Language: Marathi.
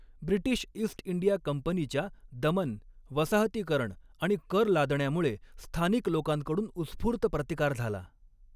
ब्रिटिश ईस्ट इंडिया कंपनीच्या दमन, वसाहतीकरण आणि कर लादण्यामुळे स्थानिक लोकांकडून उस्फूर्त प्रतिकार झाला.